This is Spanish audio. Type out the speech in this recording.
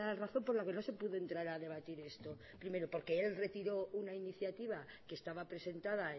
razón por la que no se pudo entrar a debatir esto primero porque él retiró una iniciativa que estaba presentada